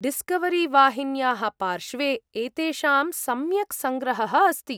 डिस्कवरीवाहिन्याः पार्श्वे एतेषां सम्यक् संग्रहः अस्ति।